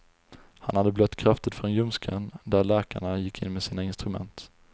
Han hade blött kraftigt från ljumsken där läkarna gick in med sina instrument.